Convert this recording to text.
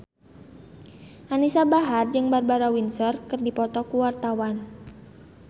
Anisa Bahar jeung Barbara Windsor keur dipoto ku wartawan